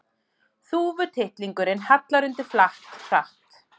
Þúfutittlingurinn hallar undir flatt, hratt.